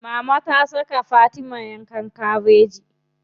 Mama ta saka Fatima yanka kabeji.